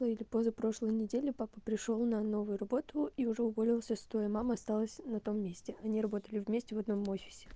ну или позапрошлой неделе папа пришёл на новую работу и уже уволился с той и мама осталась на том месте они работали вместе в одном офисе